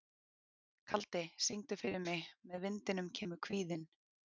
Kaldi, syngdu fyrir mig „Með vindinum kemur kvíðinn“.